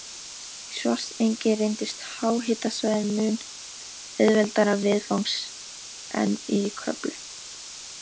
Í Svartsengi reyndist háhitasvæðið mun auðveldara viðfangs en í Kröflu.